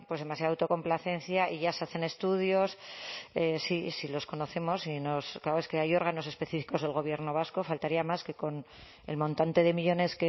demasiada autocomplacencia y ya se hacen estudios si los conocemos claro es que hay órganos específicos del gobierno vasco faltaría más que con el montante de millónes